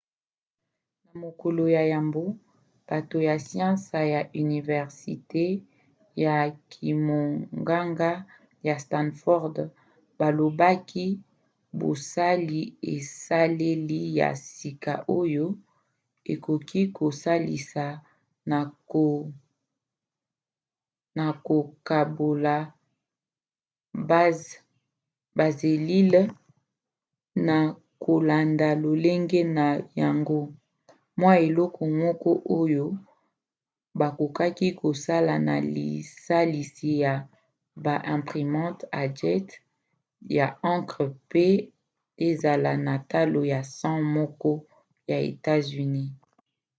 na mokolo ya yambo bato ya siansi ya universite ya kimonganga ya stanford balobaki basali esaleli ya sika oyo ekoki kosalisa na kokabola baselile na kolanda lolenge na yango: mwa eloko moko oyo bakoki kosala na lisalisi ya ba imprimantes à jet ya encre po ezala na talo ya cent moko ya etats-unis